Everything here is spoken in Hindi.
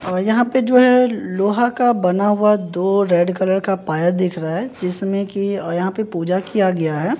अ यहां पे जो है लोहा का बना हुआ दो रेड कलर का पाया दिख रहा है जिसमें की अ यहां पे पूजा किया गया है।